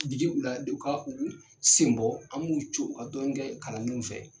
Jigi u la de u ka u senbɔ. An b'u co u ka dɔɔnin kɛ kalandenw fɛ.